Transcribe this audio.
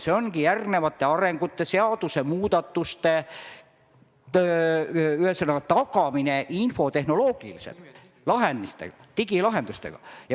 See ongi järgnevate arenduste ja seadusemuudatuste tagamine infotehnoloogiliselt, digilahendustega.